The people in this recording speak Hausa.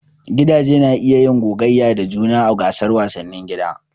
Gidaje na iya yin gogayya da juna a gasar wasannin gida.